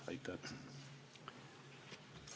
Aitäh!